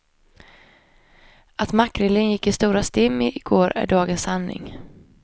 Att makrillen gick till i stora stim i går är dagens sanning.